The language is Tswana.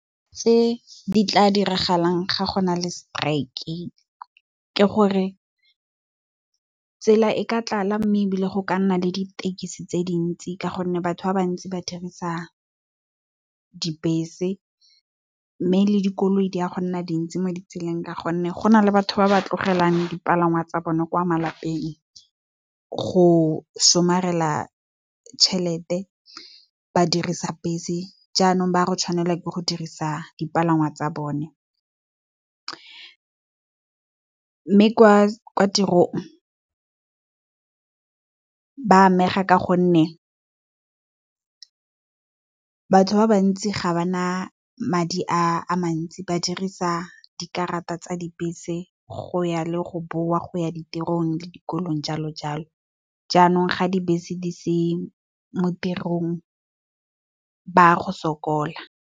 Tse di tla diragalang ga gona le seteraeke, ke gore tsela e ka tlala mme, ebile go ka nna le ditekesi tse dintsi ka gonne batho ba bantsi ba dirisa dibese mme, le dikoloi di a go nna dintsi mo ditseleng. Ka gonne go na le batho ba ba tlogelang dipalangwa tsa bone kwa malapeng go somarela tšhelete, ba dirisa bese jaanong, ba go tshwanela ke go dirisa dipalangwa tsa bone. Mme kwa tirong ba amega ka gonne batho ba bantsi ga ba na madi a mantsi ba dirisa dikarata tsa dibese go ya le go boa kwa tirong le dikolong jalo jalo jaanong, ga dibese di se mo tirong ba go sokola.